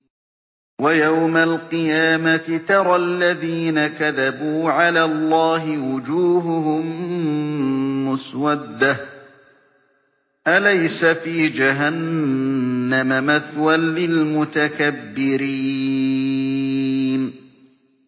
وَيَوْمَ الْقِيَامَةِ تَرَى الَّذِينَ كَذَبُوا عَلَى اللَّهِ وُجُوهُهُم مُّسْوَدَّةٌ ۚ أَلَيْسَ فِي جَهَنَّمَ مَثْوًى لِّلْمُتَكَبِّرِينَ